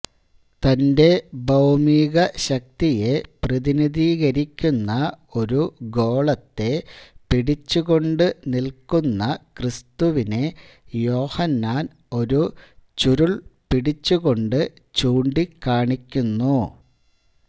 തന്റെ ഭൌമിക ശക്തിയെ പ്രതിനിധീകരിക്കുന്ന ഒരു ഗോളത്തെ പിടിച്ചുകൊണ്ട് നിൽക്കുന്ന ക്രിസ്തുവിനെ യോഹന്നാൻ ഒരു ചുരുൾ പിടിച്ച് കൊണ്ട് ചൂണ്ടിക്കാണിക്കുന്നു